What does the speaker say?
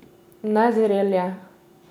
Nezrel je.